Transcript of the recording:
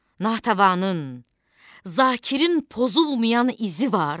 Natəvanın, Zakirin pozulmayan izi var.